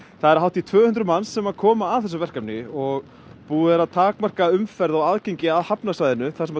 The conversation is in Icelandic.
það eru hátt í tvö hundruð manns sem koma að þessu verkefni og búið er að takmarka umferð og aðgengi að hafnarsvæðinu þar sem